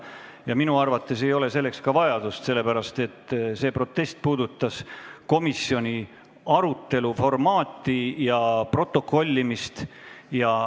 Ja minu arvates ei ole selleks vajadustki, sest see protest puudutas komisjoni arutelu formaati ja protokollimist.